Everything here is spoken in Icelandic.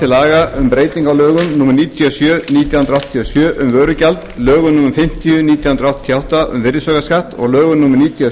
sjö um vörugjald lögum númer á fimmtíu nítján hundruð áttatíu og átta um virðisaukaskatt og lögum númer níutíu og